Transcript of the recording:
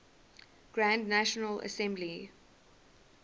grand national assembly